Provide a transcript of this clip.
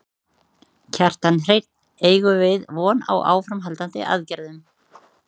Kjartan Hreinn: Eigum við von á áframhaldandi aðgerðum?